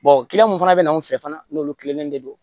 kiliyan minnu fana bɛna anw fɛ fana n'olu kilennen de don